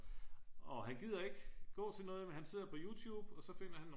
og han gider ikke gå til noget men han sidder på youtube og så finder han nogle